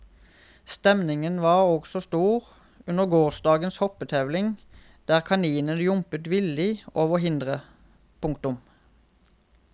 Stemningen var også stor under gårsdagens hoppetevling der kaninene jumpet villig over hindre. punktum